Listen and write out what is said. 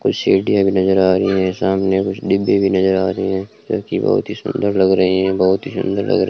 कुछ सीढ़ियां भी नजर आ रही हैं सामने कुछ डिब्बे भी नजर आ रहे है जो कि बहुत ही सुंदर लग रहे हैं बहुत ही सुंदर लग रहे --